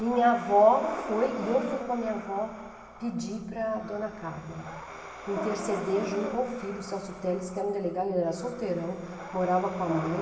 Minha avó foi, e eu fui com a minha avó, pedir para a dona Carmen interceder junto ao filho Celso Teles, que era um delegado, ele era solteirão, morava com a mãe.